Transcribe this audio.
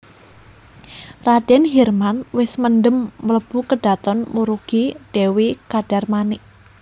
Radèn Hirman wis mendhem mlebu kedhaton murugi Dèwi Kadarmanik